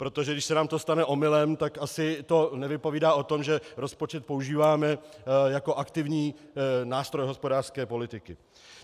Protože když se nám to stane omylem, tak to asi nevypovídá o tom, že rozpočet používáme jako aktivní nástroj hospodářské politiky.